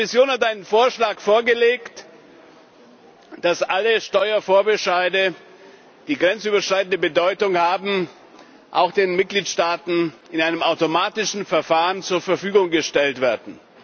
Die Kommission hat einen Vorschlag vorgelegt, wonach alle Steuerbescheide, die grenzüberschreitende Bedeutung haben, auch den Mitgliedsstaaten in einem automatischen Verfahren zur Verfügung gestellt werden.